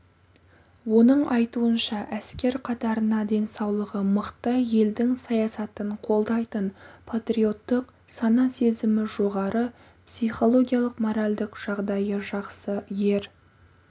оның айтуынша әскер қатарына денсаулығы мықты елдің саясатын қолдайтын патриоттық сана-сезімі жоғары психологиялық-моральдық жағдайы жақсы ер